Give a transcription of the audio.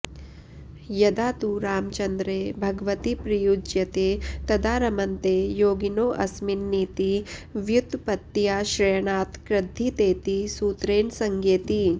यदा तु रामचन्द्रे भगवति प्रयुज्यते तदा रमन्ते योगिनोऽस्मिन्निति व्युत्पत्त्याश्रयणात्कृद्धितेति सूत्रेण संज्ञेति